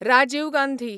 Rajiv Gandhi